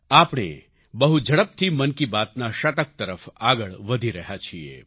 આપણે બહુ ઝડપથી મન કી બાતના શતક તરફ આગળ વધી રહ્યા છીએ